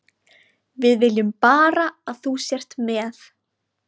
Við viljum bara að þú sért með.